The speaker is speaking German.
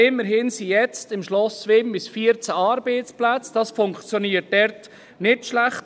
Aber immerhin hat es jetzt im Schloss Wimmis 14 Arbeitsplätze, und das funktioniert nicht schlecht.